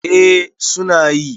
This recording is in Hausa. eh suna yi